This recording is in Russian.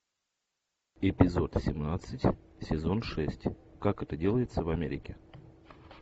эпизод семнадцать сезон шесть как это делается в америке